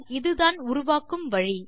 இதுதான் உருவாக்கும் வழி